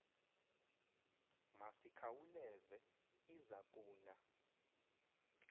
masikhauleze iza kuna